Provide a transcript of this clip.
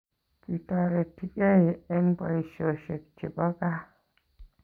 Kitoretigei eng boishoshek chepo kaa